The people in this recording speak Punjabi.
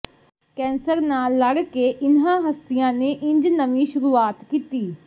ਕੈਂਸਰ ਨਾਲ ਲੜ ਕੇ ਇਨ੍ਹਾਂ ਹਸਤੀਆਂ ਨੇ ਇੰਝ ਨਵੀਂ ਸ਼ੁਰੂਆਤ ਕੀਤੀ